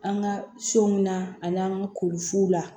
An ka so min na ani an ka ko fuw la